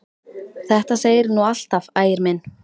Þetta segirðu nú alltaf, Ægir minn!